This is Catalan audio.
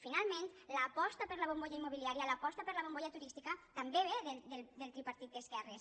finalment l’aposta per la bombolla immobiliària l’aposta per la bombolla turística també ve del tripartit d’esquerres